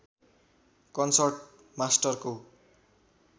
concert मास्टरको